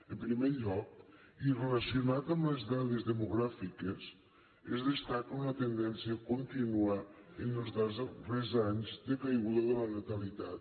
en primer lloc i relacionat amb les dades demogràfiques es destaca una tendència contínua en els darrers anys de caiguda de la natalitat